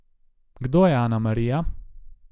Kdo je Anamarija?